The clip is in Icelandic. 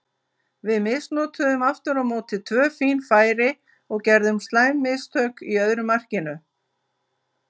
Við misnotuðum aftur á móti tvö fín færi og gerðum slæm mistök í öðru markinu.